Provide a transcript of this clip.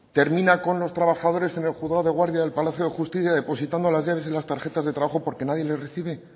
termina con los trabajadores en el juzgado de guardia en el palacio de justicia depositando las llaves y las tarjetas de trabajo porque nadie les recibe